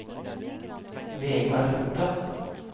Vegard Lothe